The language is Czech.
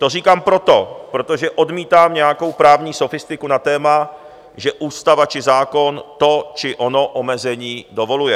To říkám proto, protože odmítám nějakou právní sofistiku na téma, že ústava či zákon to či ono omezení dovoluje.